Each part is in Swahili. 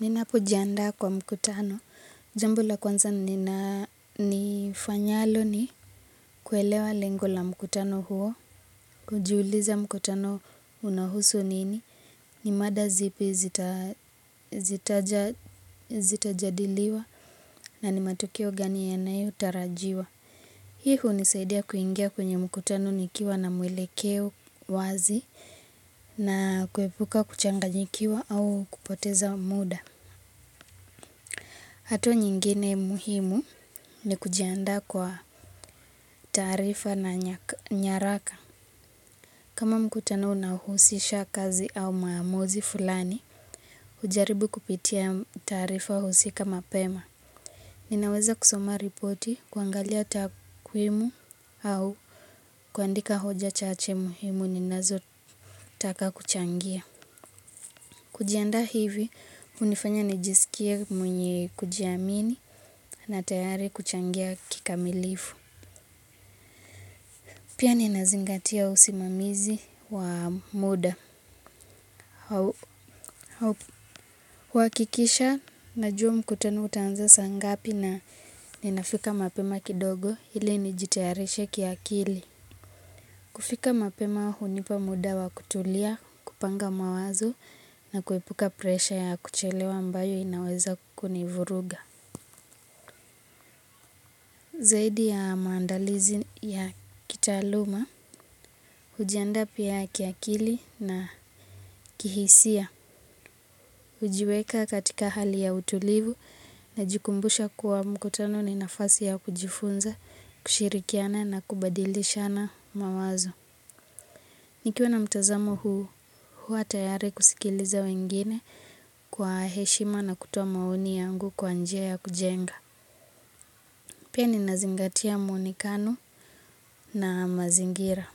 Ninapo jiandaa kwa mkutano. Jambo la kwanza nina nifanyalo ni kuelewa lengo la mkutano huo. Kujiuliza mkutano unahusu nini. Ni mada zipi zitajadiliwa na ni matukio gani yanayotarajiwa. Hii hunisaidia kuingia kwenye mkutano nikiwa na mwelekeo wazi na kuepuka kuchanganyikiwa au kupoteza muda. Hatua nyingine muhimu ni kujiandaa kwa taarifa na nyaraka. Kama mkutano unahusisha kazi au maamuzi fulani, hujaribu kupitia tarifa husika mapema. Ninaweza kusoma ripoti, kuangalia takwimu au kuandika hoja chache muhimu ninazo taka kuchangia. Kujianda hivi, hunifanya nijisikie mwenye kujiamini na tayari kuchangia kikamilifu. Pia ninazingatia usimamizi wa muda. Huhakikisha, najua mkutano utaanza saa ngapi na ninafika mapema kidogo ili nijitayarishe kiakili. Kufika mapema hunipa muda wa kutulia, kupanga mawazo na kuepuka presha ya kuchelewa ambayo inaweza kunivuruga. Zaidi ya maandalizi ya kitaaluma, hujiandaa pia kiakili na kihisia, hujiweka katika hali ya utulivu najikumbusha kuwa mkutano ni nafasi ya kujifunza, kushirikiana na kubadilishana mawazo. Nikiwa na mtazamo huu, huwa tayari kusikiliza wengine kwa heshima na kutoa maoni yangu kwa njia ya kujenga. Pia ninazingatia muonekano na mazingira.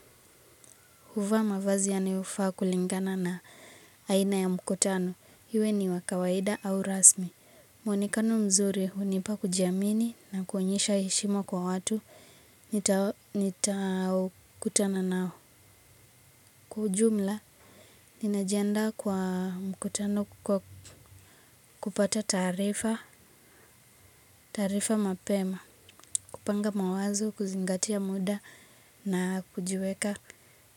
Huvaa mavazi yanayofaa kulingana na aina ya mkutano. Iwe ni wa kawaida au rasmi. Muonekano mzuri hunipa kujiamini na kuonyesha heshima kwa watu. Nitao kutana nao kwa ujumla. Nina jiandaa kwa mkutano kupata taarifa, taarifa mapema, kupanga mawazo, kuzingatia muda na kujiweka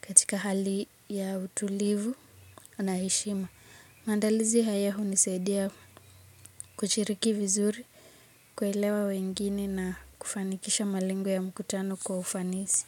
katika hali ya utulivu na heshima. Maandalizi haya hunisaidia kushiriki vizuri, kuelewa wengine na kufanikisha malengo ya mkutano kwa ufanisi.